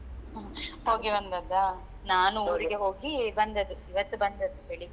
ಹೋಗಿ ಬಂದದ್ದಾ ನಾನು ಊರಿಗೆ ಹೋಗಿ ಬಂದದ್ದು ಇವತ್ತು ಬಂದದ್ದು ಬೆಳಿಗ್ಗೆ